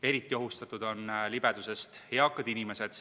Eriti ohustatud on libedusest eakad inimesed.